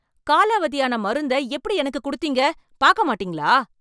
காலாவதியான மருந்த எப்படி எனக்கு குடுத்தீங்க, பாக்க மாட்டீங்களா?